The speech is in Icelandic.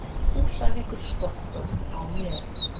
Húsavíkur-Skotta á mér.